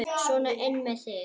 Sona inn með þig!